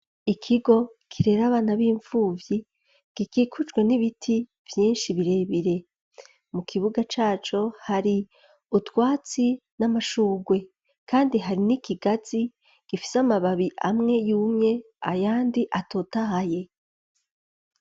Ikigo kirera abana b'impfuvyi, gikikujwe n'ibiti vyinshi birebire, mu kibuga caco hari utwatsi n'amashurwe, kandi hari n'ikigazi gifise amababi amwe yumye ayandi atotahaye.